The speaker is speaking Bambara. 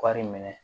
Wari minɛ